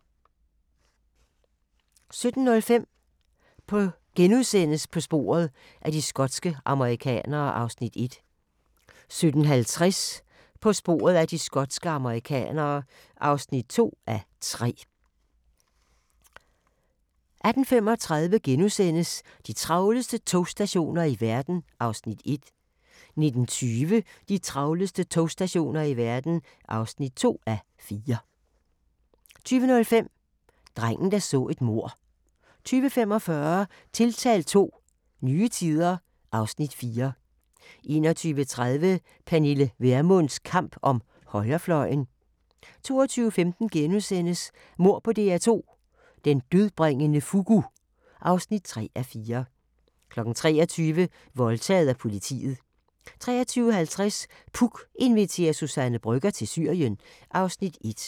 17:05: På sporet af de skotske amerikanere (1:3)* 17:50: På sporet af de skotske amerikanere (2:3) 18:35: De travleste togstationer i verden (1:4)* 19:20: De travleste togstationer i verden (2:4) 20:05: Drengen, der så et mord 20:45: Tiltalt II – Nye tider (Afs. 4) 21:30: Pernille Vermunds kamp om højrefløjen 22:15: Mord på DR2 – Den dødbringende fugu (3:4)* 23:00: Voldtaget af politiet 23:50: Puk inviterer Suzanne Brøgger til Syrien (Afs. 1)